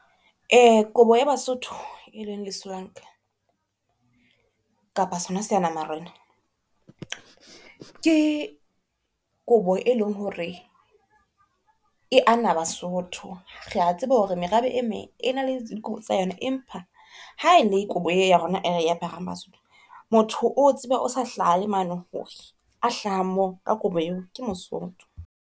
Kobo ya Basotho e leng lesolanka kapa sona seana-marena ke kobo e leng hore e ana Basotho. Rea tseba hore merabe e meng e na le kobo tsa yona, empa ha e le kobo e ya rona e re aparang Basotho. Motho o tsebe o sa hlaha le mane hore a hlahang, mane ka kobo eo, ke Mosotho.